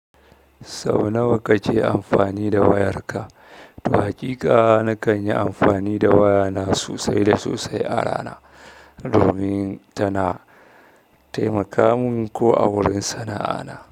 Sau nawa kake amfani da wayarka? To haƙiƙa nakan yi amfani da wayana sosai da sosai a rana domin tana taimaka min ko a wurin sana'ana.